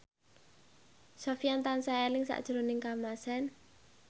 Sofyan tansah eling sakjroning Kamasean